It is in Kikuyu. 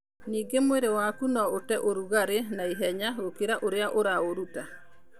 Ningĩ mwĩrĩ waku no ũte ũrugarĩ na ihenya gũkĩra ũrĩa ũraũruta.